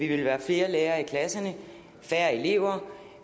ville være flere lærere i klasserne færre elever